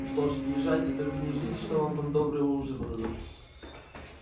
что ж езжайте только не ждите что вам там добрый ужин подадут